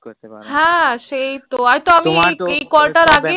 হ্য়াঁ সেই তো